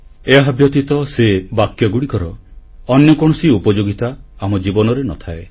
ଏହାବ୍ୟତୀତ ସେ ବାକ୍ୟଗୁଡ଼ିକର ଅନ୍ୟ କୌଣସି ଉପଯୋଗିତା ଆମ ଜୀବନରେ ନ ଥାଏ